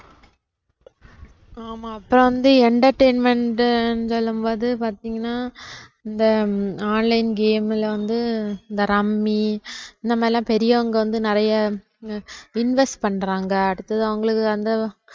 ஆமா அப்புறம் வந்து entertainment ன்னு சொல்லும் போது பாத்தீங்கன்னா இந்த online game ல வந்து இந்த rummy இந்த மாதிரி எல்லாம் பெரியவங்க வந்து நிறைய invest பண்றாங்க அடுத்தது அவங்களுக்கு வந்து